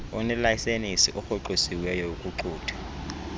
onelayisenisi orhoxisiweyo ukuxuthwa